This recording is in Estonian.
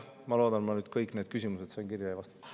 Ma loodan, et ma sain kõik küsimused kirja ja vastatud.